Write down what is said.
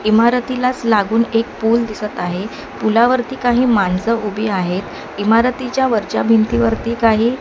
इमारतीलाच लागून एक पूल दिसत आहे पुलावरती काही माणसं उभी आहेत इमारतीच्या वरच्या भिंतीवरती काही --